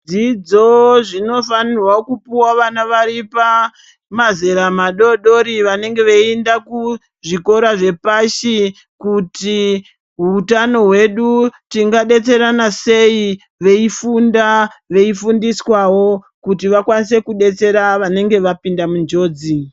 Zvidzidzo zvinofana kupuwa vana vari pamazera madodori vanenge veienda kuzvikora zvepashi kuti hutano tingadetserana sei veifunda veifundiswawo kuti vaone kudetsera vanenge vapinda munjodzi.